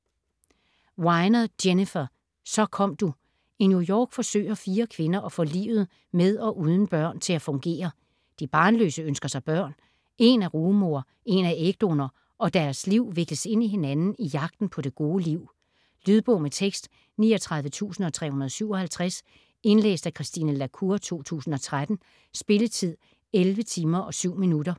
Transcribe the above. Weiner, Jennifer: Så kom du I New York forsøger fire kvinder at få livet med og uden børn til at fungere. De barnløse ønsker sig børn, en er rugemor, en er ægdonor og deres liv vikles ind i hinanden i jagten på det gode liv. Lydbog med tekst 39357 Indlæst af Christine la Cour, 2013. Spilletid: 11 timer, 7 minutter.